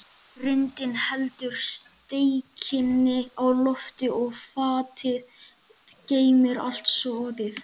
Grindin heldur steikinni á lofti og fatið geymir allt soðið.